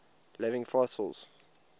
living fossils